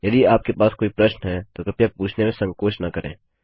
यदि आपके पास कोई प्रश्न है तो कृपया पूछने में संकोच न करें